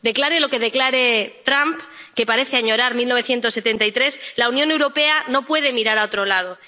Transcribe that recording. Declare lo que declare Trump, que parece añorar 1973, la Unión Europea no puede mirar a otro lado.